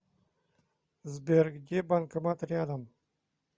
сбер где банкомат рядом